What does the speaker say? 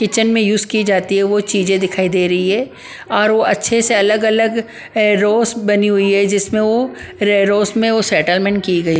kitchen में use की जाती है वो चीजें दिखाई दे रही है और वो अच्छे से अलग-अलग रोस बनी हुई है जिसमें वो रोस में वो सेटलमेंट की गई --